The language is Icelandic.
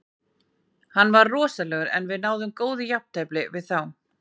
Hann var rosalegur en við náðum góðu jafntefli við þá.